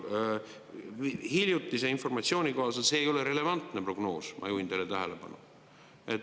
Hiljutise informatsiooni kohaselt see ei ole relevantne prognoos, ma juhin teie tähelepanu.